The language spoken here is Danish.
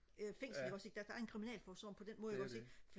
øh fængsel ikke også ikke deres egen kriminalforsorgen på den måde ikke også ikke